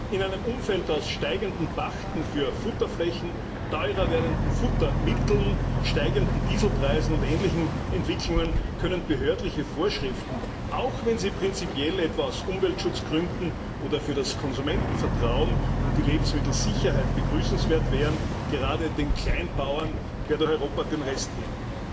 In einem Umfeld aus steigenden Pachten für Futterflächen, teurer werdenden Futtermitteln, steigenden Dieselpreisen und ähnlichen Entwicklungen können behördliche Vorschriften, auch wenn sie prinzipiell etwa aus Umweltschutzgründen oder für das Konsumentenvertrauen und die Lebensmittelsicherheit begrüßenswert wären, gerade den Kleinbauern quer durch Europa den Rest geben.